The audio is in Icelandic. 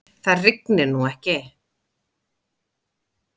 Það rignir nú ekki.